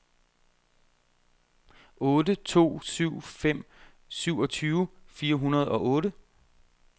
otte to syv fem syvogtyve fire hundrede og otte